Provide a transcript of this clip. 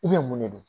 I bɛ mun de don